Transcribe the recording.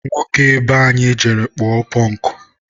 nwoke be anyị jere kpụọ pụnkụ.